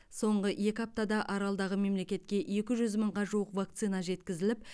соңғы екі аптада аралдағы мемлекетке екі жүз мыңға жуық вакцина жеткізіліп